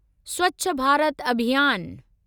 स्वच्छ भारत अभियान